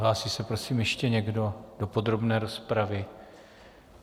Hlásí se prosím ještě někdo do podrobné rozpravy?